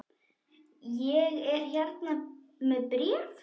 Ég er hér með bréf!